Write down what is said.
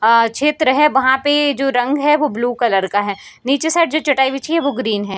अअ क्षेत्र है वहां पे जो रंग है वो ब्लू कलर का है नीचे साइड जो चटाई बिछी है वो ग्रीन है।